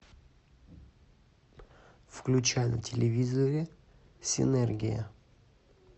включай на телевизоре синергия